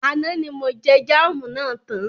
Àná ní mo jẹ jámù na tán.